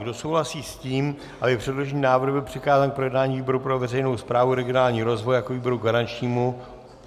Kdo souhlasí s tím, aby předložený návrh byl přikázán k projednání výboru pro veřejnou správu a regionální rozvoj jako výboru garančnímu?